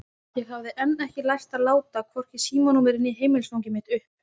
Ég hafði enn ekki lært að láta hvorki símanúmerið né heimilisfangið mitt uppi.